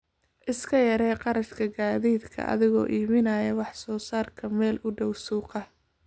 Iska yaree kharashka gaadiidka adigoo iibinaya wax soo saarka meel u dhow suuqa.